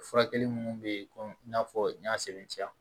Furakɛli minnu bɛ yen ko i n'a fɔ n y'a sɛbɛntiya